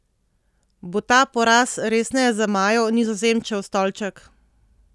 Bo ta poraz resneje zamajal Nizozemčev stolček?